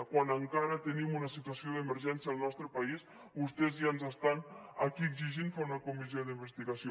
quan encara tenim una situació d’emergència al nostre país vostès ja ens estan aquí exigint fer una comissió d’investigació